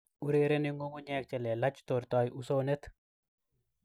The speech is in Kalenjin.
Urereni ngungunyek che lelach tortoi usonet